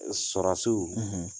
E Sɔrasiw